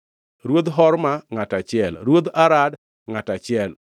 Ruodh Horma, ngʼato achiel, Ruodh Arad, ngʼato achiel,